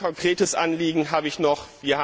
Ein konkretes Anliegen habe ich noch.